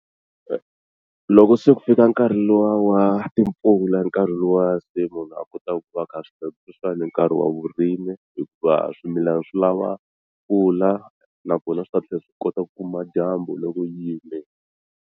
Loko se ku fika nkarhi luwa wa timpfula i nkarhi luwa se munhu a kotaka ku va a kha a swi tiva ku sweswiwani i nkarhi wa vurimi hikuva swimilana swi lava mpfula nakona swi ta tlhela swi kota ku kuma dyambu loko yi yimile.